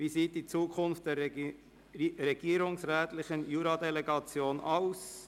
«Wie sieht die Zukunft der regierungsrätlichen Juradelegation aus?».